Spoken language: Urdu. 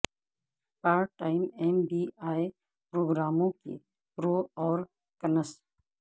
part time M B A پروگراموں کے پرو اور کنس